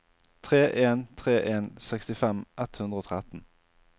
tre en tre en sekstifem ett hundre og tretten